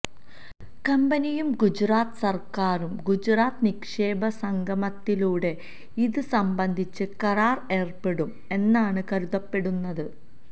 കമ്പനിയും ഗുജറാത്ത് സര്ക്കാരും ഗുജറാത്ത് നിക്ഷേപക സംഗമത്തിലൂടെ ഇത് സംബന്ധിച്ച് കരാര് ഏര്പ്പെടും എന്നാണ് കരുതപ്പെടുന്നത്